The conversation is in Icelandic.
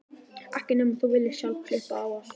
Ekki nema þú viljir sjálf klippa á allt.